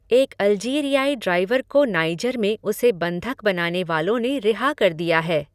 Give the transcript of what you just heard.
एक अल्जीरियाई ड्राइवर को नाइजर में उसे बंधक बनाने वालों ने रिहा कर दिया है।